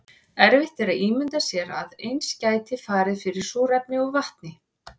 erfitt er að ímynda sér að eins gæti farið fyrir súrefni og vatni